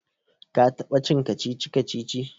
ka taba cin kacici-kacici?